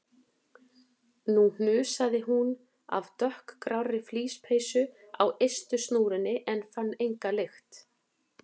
Nú hnusaði hún af dökkgrárri flíspeysu á ystu snúrunni en fann enga lykt.